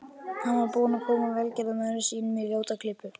Hann var búinn að koma velgerðarmönnum sínum í ljóta klípu.